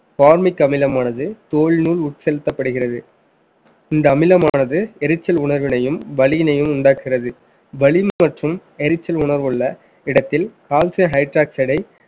varmic அமிலமானது தோல் உள் உட்செலுத்தப்படுகிறது இந்த அமிலமானது எரிச்சல் உணர்வினையும் வலியினையும் உண்டாக்குகிறது வலி மற்றும் எரிச்சல் உணர்வுள்ள இடத்தில் calcium hidroxide